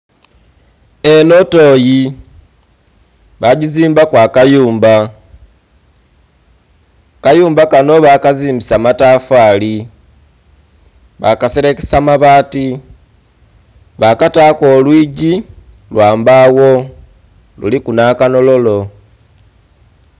Enho tooyi ba gizimbaku akayumba, akayumba kanho bakazimbisa matafali ba kaselekesa mabati ba kataku olwigi lwa mbaawo kuliku nha kanhololo.